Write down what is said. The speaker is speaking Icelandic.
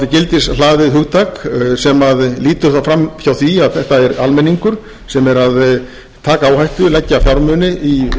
gildishlaðið hugtak sem lítur þá fram hjá því að þetta er almenningur sem er að taka áhættu leggur fjármuni í atvinnurekstur og í